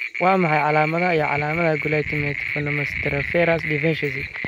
Waa maxay calaamadaha iyo calaamadaha Glutamate formiminotransferase deficiency?